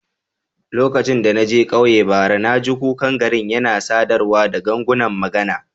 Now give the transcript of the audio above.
Lokacin da na je ƙauyen bara, na ji kukan garin yana sadarwa da gangunan magana.